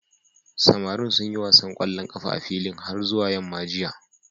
Samarin sun yi wasan ƙwallon ƙafa a filin har zuwa yamma jiya.